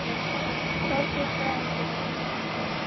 Þorbjörn: Þræðingum verður sem sagt frestað?